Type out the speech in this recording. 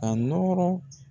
Ka nɔrɔ